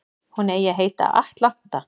Hún eigi að heita Atlanta